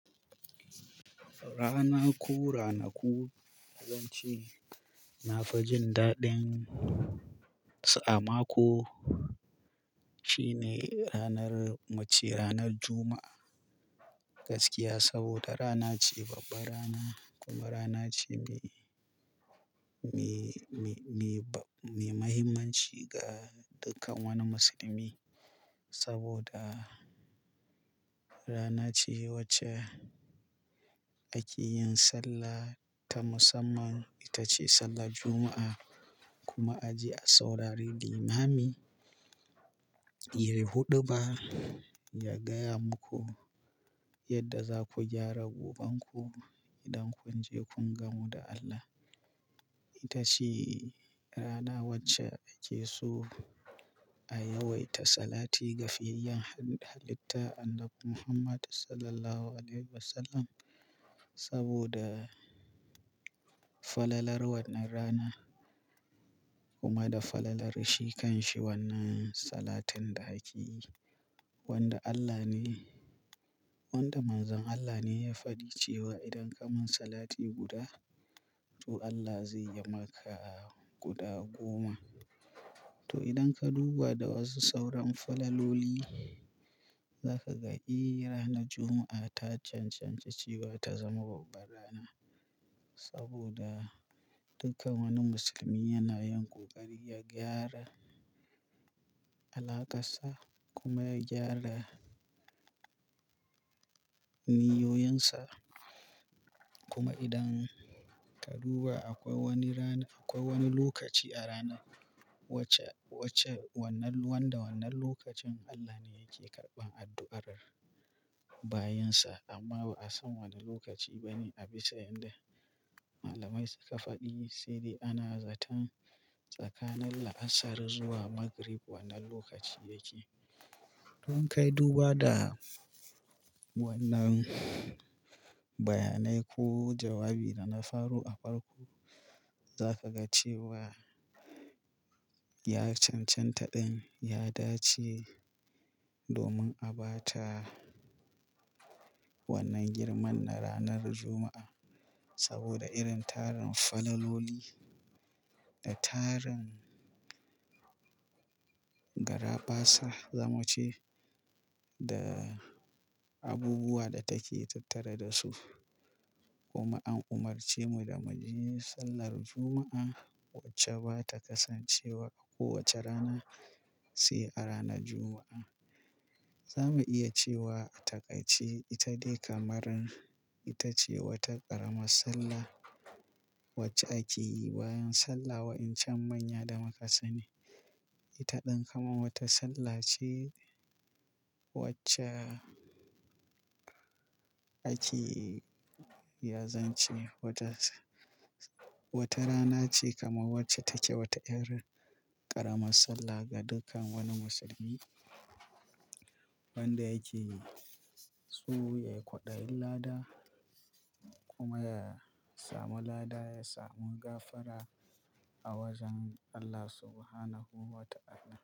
Rana ko ranaku? Falanci na fi jin daɗin sa amma ko shine ranar mace ranar Juma'a gaskiya saboda rana ce babba rana kuma rana ce me me me me ba-- me muhimmanci ga dukkan wani musulmi saboda rana ce wacce ake yin sallah ta musamman. Ita ce sallar Juma'a kuma a ji a saurari limami yayi huɗuba ya gaya muku yadda za ku gyara goɓanku idan kun je kun gamu da Allah. Ita ce rana wacce ake so a yawaita salati ga fiyayyen halitta Annabi Muhammad Sallallahu Alaihi Wasallam saboda falalar wannan rana kuma da falalar shi kan shi wannan salatun da ake wanda Allah ne wanda manzon Allah ne ya faɗi cewa idan ka min salati guda to Allah zai yi maka guɗa goma. To idan ka duba da wasu sauran falaloli zaka ga irin ranar Juma'a ta cancanci ba ta zama babba rana saboda dukkan wani musulmi yana yin ƙoƙari ya gyara alaƙarsa kuma ya gyara niyoyinsa. Kuma idan ka duba akwai wani rana-- akwai wani lokaci a rana wacce wacce wannan wanda wannan lokacin Allah ne yake karɓan addu'ar bayinsa amma ba a san wane lokaci bane a bisa yadda malamai suka faɗi. Sai dai ana zaton tsakanin la'asar zuwa magrib wannan lokaci yake. Don kai duba da wannan bayanai ko jawabi da na faru a farko za ka ga cewa ya cancanta ɗin ya dace domin a ba ta wannan girman na ranar Juma'a saboda irin tarin falaloli da tarin garafasa zamuce da abubuwa da take tattare da su. Kuma an umarce mu da mu yi sallar Juma'a wacce ba ta kasance wa a kowace rana sai a ranar Juma'a. Za mu iya cewa a takai ce ita dai kamar ita ce wata ƙaramar sallah wacce ake yi bayan sallah wa'incan manya da makasane. Ita ɗan kamar wata sallah ce wacce ake iyakance. Wata rana ce kamar wacce take wata irin ƙaramar sallah ga dukkan wani musulmi wanda yake so ya yi kwaɗayin lada kuma ya samu lada ya samu gafara a wajen Allah Subhanahu wa ta'ala.